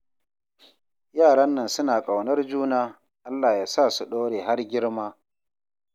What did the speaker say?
Yaran nan suna ƙaunar juna, Allah ya sa su ɗore har girma